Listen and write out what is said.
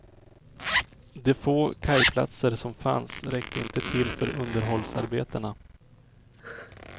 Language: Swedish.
De få kajplatser som fanns räckte inte till för underhållsarbetena.